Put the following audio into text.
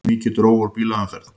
Mikið dró úr bílaumferð